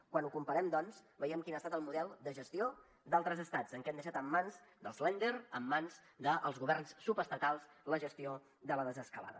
quan ho comparem doncs veiem quin ha estat el model de gestió d’altres estats en què han deixat en mans dels länder en mans dels governs subestatals la gestió de la desescalada